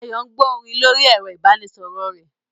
Ayo ń gbọ́ orin lórí ẹ̀rọ ìbánisọ̀rọ̀ rẹ̀